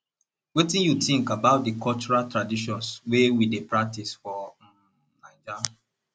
wetin you think about di cultural traditions wey we dey practice for um naija